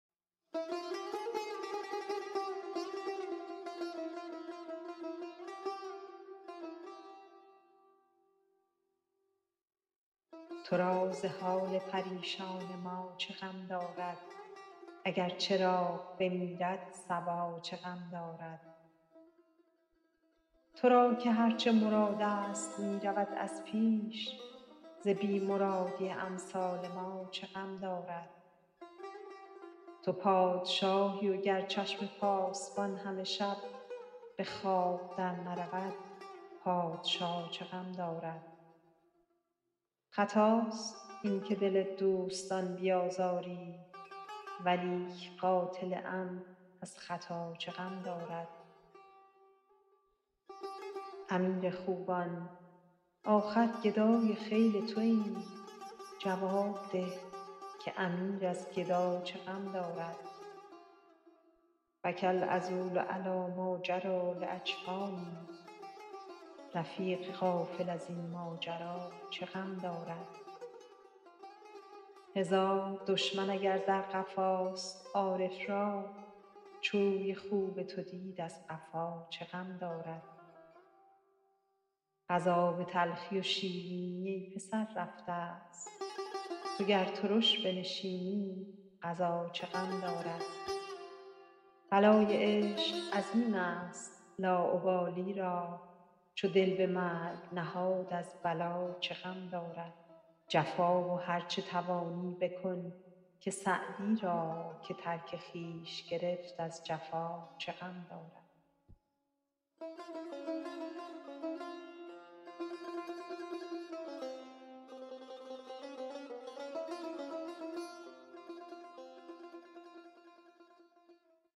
تو را ز حال پریشان ما چه غم دارد اگر چراغ بمیرد صبا چه غم دارد تو را که هر چه مرادست می رود از پیش ز بی مرادی امثال ما چه غم دارد تو پادشاهی گر چشم پاسبان همه شب به خواب درنرود پادشا چه غم دارد خطاست این که دل دوستان بیازاری ولیک قاتل عمد از خطا چه غم دارد امیر خوبان آخر گدای خیل توایم جواب ده که امیر از گدا چه غم دارد بکی العذول علی ماجری لاجفانی رفیق غافل از این ماجرا چه غم دارد هزار دشمن اگر در قفاست عارف را چو روی خوب تو دید از قفا چه غم دارد قضا به تلخی و شیرینی ای پسر رفتست تو گر ترش بنشینی قضا چه غم دارد بلای عشق عظیمست لاابالی را چو دل به مرگ نهاد از بلا چه غم دارد جفا و هر چه توانی بکن که سعدی را که ترک خویش گرفت از جفا چه غم دارد